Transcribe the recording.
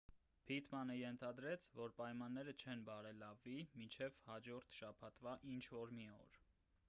փիթմանը ենթադրեց որ պայմանները չեն բարելավվի մինչև հաջորդ շաբաթվա ինչ-որ մի օր